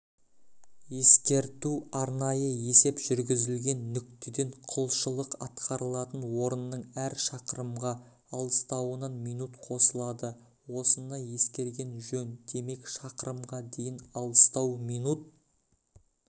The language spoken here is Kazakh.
ескерту арнайы есеп жүргізілген нүктеден құлшылық атқарылатын орынның әр шақырымға алыстауынан минут қосылады осыны ескерген жөн демек шақырымға дейін алыстау минут